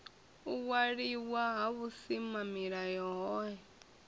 u waliwa ha vhusimamilayo hohe